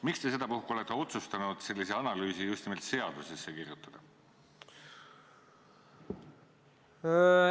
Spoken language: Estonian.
Miks te sedapuhku olete otsustanud sellise analüüsi just nimelt seadusesse kirjutada?